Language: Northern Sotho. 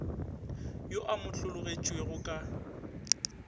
yo a mo hlologetšego ka